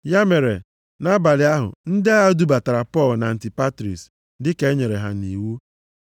Ya mere, nʼabalị ahụ, ndị agha dubatara Pọl na Antipatris dịka e nyere ha nʼiwu.